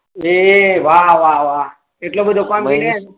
એ વાહ વાહ એટલો બધો કોન્ફીડંસ